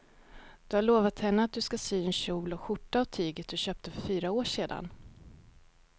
Du har lovat henne att du ska sy en kjol och skjorta av tyget du köpte för fyra år sedan.